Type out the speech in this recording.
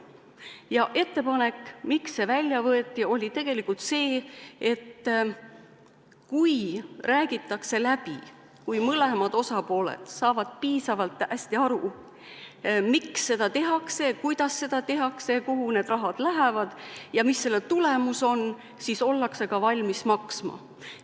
Ja ettepanek, miks see välja võeti, oli tegelikult see, et kui räägitakse läbi – kui mõlemad osapooled saavad piisavalt hästi aru, miks seda tehakse, kuidas seda tehakse, kuhu raha lähevad ja mis selle tulemus on –, siis ollakse ka valmis maksma.